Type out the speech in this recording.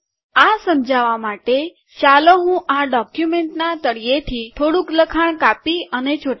આ સમજાવા માટે ચાલો હું આ ડોક્યુમેન્ટ ના તળિયે થી થોડુંક લખાણ કાપી અને ચોતાડું